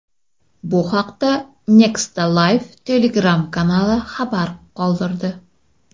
Bu haqda Nexta Live Telegram-kanali xabar qoldirdi.